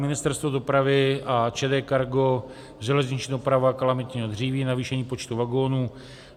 Ministerstvo dopravy a ČD Cargo - železniční doprava kalamitního dříví, navýšení počtu vagonů.